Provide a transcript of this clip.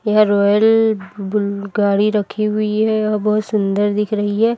यह royal bull गाड़ी रखी हुई है औ बहोत सुंदर दिख रही है।